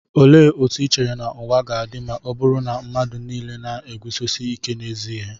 Olee otú i chere na ụwa ga-adị ma ọ bụrụ na mmadụ nile na-eguzosi ike n'ezi ihe?